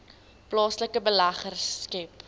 plaaslike beleggers skep